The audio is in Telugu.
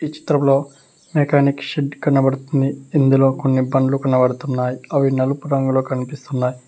ఈ చిత్రంలో మెకానిక్ షెడ్ కనబడుతుంది ఇందులో కొన్ని బండ్లు కనపడుతున్నాయి అవి నలుపు రంగులో కనిపిస్తున్నాయి.